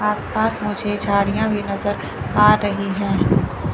आस पास मुझे झाड़ियां भी नजर आ रही है।